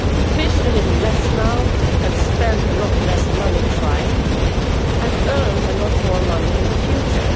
Fish a little less now and spend a lot less money trying, and earn a lot more money in the future.